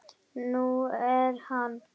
Nú er hann